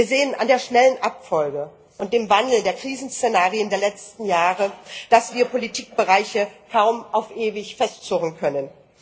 Wir sehen an der schnellen Abfolge und dem Wandel der Krisenszenarien der letzten Jahre, dass wir Politikbereiche kaum auf ewig festzurren können.